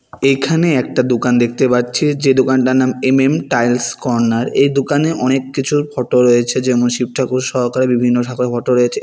এইখানে একটা দোকান দেখতে পাচ্ছি যে দোকানটার নাম এম_এম টাইলস কর্নার এই দোকানে অনেক কিছুর ফটো রয়েছে যেমন- শিব ঠাকুর সহকারে বিভিন্ন ঠাকুরের ফটো রয়েছে এ--